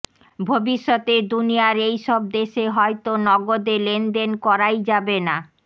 ভবিষ্যতে দুনিয়ার এইসব দেশে হয়তো নগদে লেনদেন করাই যাবে না